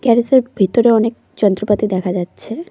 Garage -এর ভেতরে অনেক যন্ত্রপাতি দেখা যাচ্ছে।